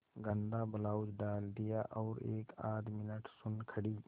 गंदा ब्लाउज डाल दिया और एकआध मिनट सुन्न खड़ी